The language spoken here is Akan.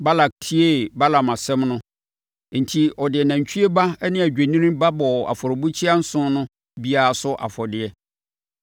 Balak tiee Balaam asɛm no, enti ɔde nantwie ba ne odwennini ba bɔɔ afɔrebukyia nson no biara so afɔdeɛ.